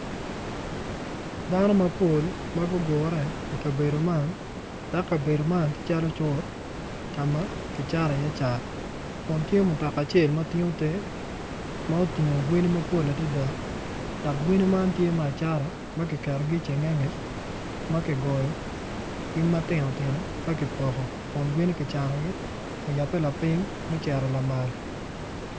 Dano mapol ma gugure i kabedo man dok kabedo man tye calo cuk ka ma kicato iye cat kun tye mutoka acel ma tingo te ma otingo gweni mapol adada dok gweni man tye me acata ma kiketogi i cengenge ma kigoyogi matino tino ka kipoko kun gweni kicanogi oyabe lapiny me cito lamal.